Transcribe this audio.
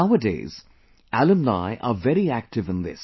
Nowadays, alumni are very active in this